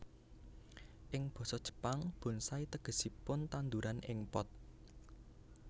Ing basa Jepang bonsai tegesipun tandhuran ing pot